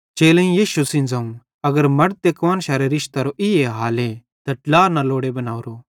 चेलेईं यीशु सेइं ज़ोवं अगर मड़द ते कुआन्शारे रिशतेरो ई हाले त ड्ला न लोड़े बनोरो